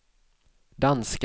danska